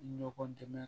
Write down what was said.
Ɲɔgɔn dɛmɛ